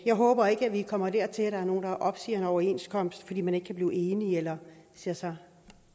jeg håber ikke vi kommer dertil at der er nogen der opsiger en overenskomst fordi man ikke kan blive enige eller ser sig